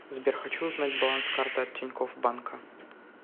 сбер хочу узнать баланс карты от тинькофф банка